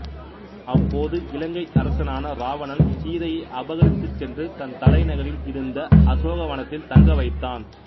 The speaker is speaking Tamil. அப்போது இலங்கை அரசனான இராவணன் சீதையை அபகரித்துச்சென்று தன் தலைநகரில் இருந்த அசோகவனத்தில் தங்க வைத்தான்